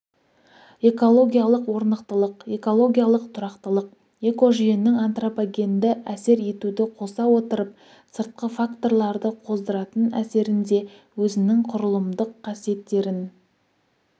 экологиялық орнықтылық экологиялық тұрақтылық экожүйенің антропогенді әсер етуді қоса отырып сыртқы факторларды қоздыратын әсерінде өзінің құрылымдық қасиеттерін